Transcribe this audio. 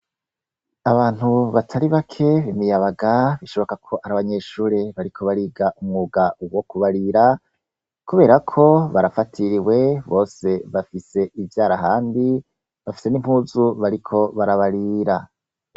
Abantu batari bake imiyabaga bakaba bariko biga umwuga wo kubarira kubera ko barafatiriwe bose bafise ivyara ahandi bafise nimpuzu bariko barabarira